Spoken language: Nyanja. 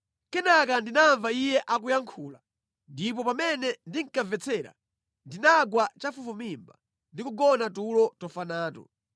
Kenaka ndinamva iye akuyankhula, ndipo pamene ndinkamvetsera, ndinagwa chafufumimba ndi kugona tulo tofa nato.